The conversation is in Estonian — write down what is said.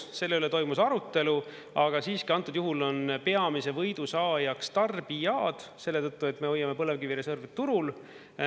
Selle üle toimus arutelu, aga siiski antud juhul on peamise võidu saajaks tarbijad selle tõttu, et me hoiame põlevkivireservi turul.